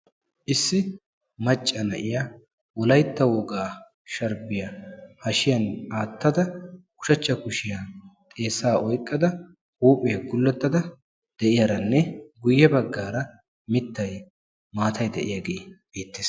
Issi macca na'yaa wolaytta wogaa sharibbiya hashshiyan aattada ushshacha kushshiyani xeessa oyqqada huuphphiyaa gulettada de'iyaaranne guye bagara mittay maattay de'iyaagge beettes.